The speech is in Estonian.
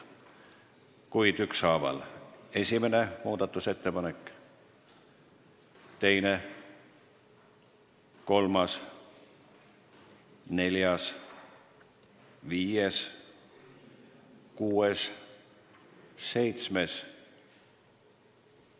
Kuid ükshaaval: muudatusettepanek nr 1, nr 2, nr 3, nr 4, nr 5, nr 6, nr 7.